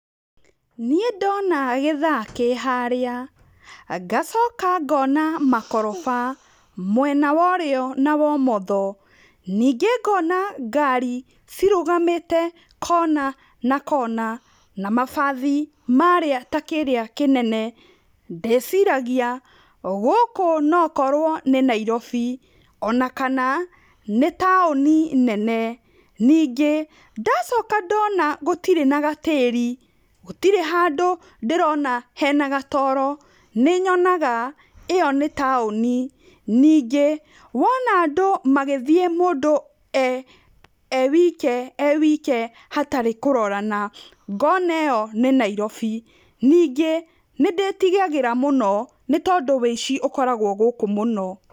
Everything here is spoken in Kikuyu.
Nĩĩ ndona gĩthaa kĩ harĩa, ngacoka ngona makoroba mwena wa ũrĩo na wa ũmotho, ningĩ ngona ngari cirũgamĩte kona na kona, na mabathi marĩa ta kĩrĩa kĩnene ndĩcirgia gũkũ nokorwo nĩ Nairobi, ona kana nĩ taũni nene, nĩngĩ ndacoka ndona gũtĩrĩ na gatĩri, gũtĩri handũ ndĩrona hena gatoro nĩnyonaga ĩyo nĩ taũni, ningĩ wona andũ magĩthĩĩ mũndũ e wike e wike hatarĩ kũrorana, ngona ĩyo nĩ Nairobi, ningĩ nĩndĩtigagĩra mũno tondũ wĩici ũkoragwo gũkũ mũno.